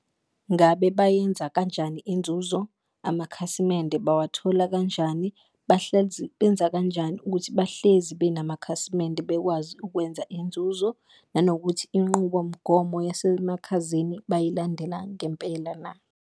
Ngabe bayenza kanjani inzuzo? Amakhasimende bawathola kanjani? Benza kanjani ukuthi bahlezi benamakhasimende bekwazi ukwenza inzuzo, nanokuthi inqubomgomo yasemakhazeni bayilandela ngempela na?